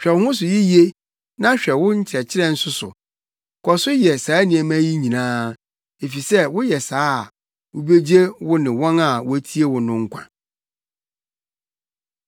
Hwɛ wo ho so yiye na hwɛ wo nkyerɛkyerɛ nso so. Kɔ so yɛ saa nneɛma yi nyinaa, efisɛ sɛ woyɛ saa a, wubegye wo ho ne wɔn a wotie wo no nkwa.